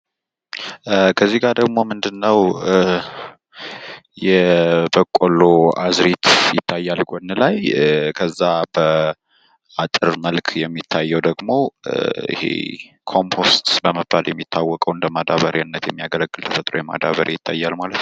ከዚጋ ደሞ ምንድነው የበቆሎ አዝእርት ይታያል ጎን ላይ፤ ከዛ በአጥር መልክ የሚታየዉ ደሞ የኮምፖስት በመባል የሚታወቀዉ እንደ ማዳበሪያነት የሚያገለግል ፤ የተፈጥሮ ማዳበሪያ ይታያል ማለት ነው።